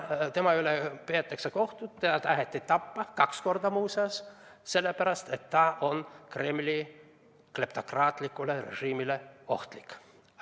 Ei, tema üle peetakse kohut ja teda taheti tappa, kaks korda muuseas, sellepärast, et ta on Kremli kleptokraatlikule režiimile ohtlik.